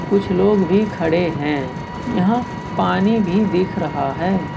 कुछ लोग भी खड़े हैं यहां पानी भी दिख रहा है।